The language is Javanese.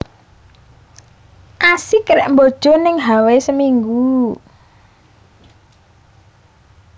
Asik rek mbojo ning Hawai seminggu